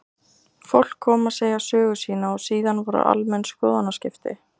Fólk kom að segja sögu sína og síðan voru almenn skoðanaskipti.